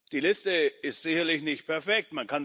Die Liste ist sicherlich nicht perfekt.